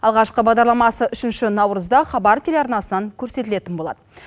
алғашқы бағдарламасы үшінші наурызда хабар телеарнасынан көрсетілетін болады